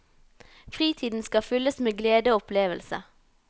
Fritiden skal fylles med glede og opplevelse.